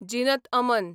Zeenat Aman